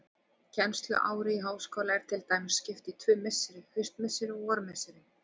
Kennsluári í háskóla er til dæmis skipt í tvö misseri, haustmisseri og vormisseri.